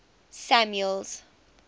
samuel's